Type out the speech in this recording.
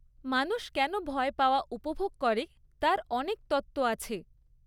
মানুষ কেন ভয় পাওয়া উপভোগ করে তার অনেক তত্ত্ব আছে।